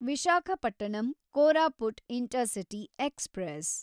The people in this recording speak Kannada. Visakhapatnam Koraput intercity express